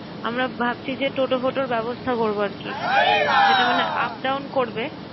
আমরা ভাবছি যে toto-foto এর ব্যবস্থা করবো আর কি যেটা মানে up-down করবে